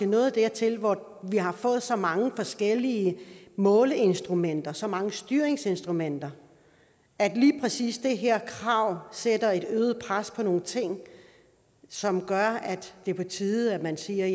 nået dertil hvor vi har fået så mange forskellige måleinstrumenter så mange styringsinstrumenter at lige præcis det her krav sætter et øget pres på nogle ting som gør at det er på tide man siger